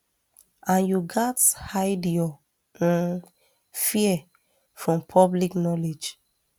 and you gatz hide your um fear from public knowledge